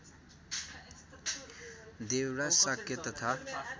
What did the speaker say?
देवराज शाक्य तथा